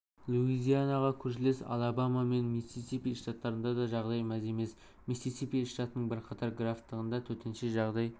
луизианаға көршілес алабама мен миссисипи штаттарында да жағдай мәз емес миссисипи штатының бірқатар графтығында төтенше жағдай